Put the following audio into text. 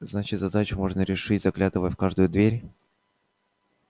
значит задачу можно решить заглядывая в каждую дверь